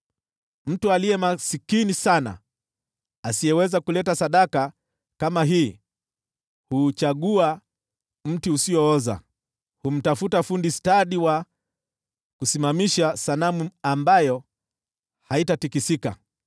Mtu aliye maskini sana asiyeweza kuleta sadaka kama hii huuchagua mti usiooza. Humtafuta fundi stadi wa kusimamisha sanamu ambayo haitatikisika.